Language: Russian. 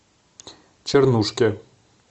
чернушке